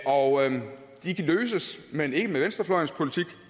og de kan løses men ikke med venstrefløjens politik